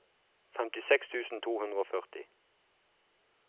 femtiseks tusen to hundre og førti